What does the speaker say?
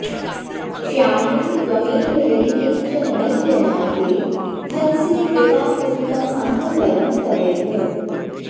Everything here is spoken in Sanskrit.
श्यामे त्वमेव यदि किञ्चन मय्यनाथे धत्से कृपामुचितमम्ब परं तवैव